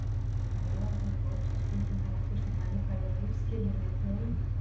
Meðalhæð fólks er stundum notuð sem mælikvarði á lífsskilyrði þjóða.